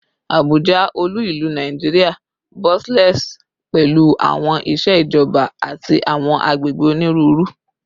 Abuja, olu-ilu Naijiria, bustles pẹlu awọn iṣẹ ijọba ati awọn agbegbe oniruuru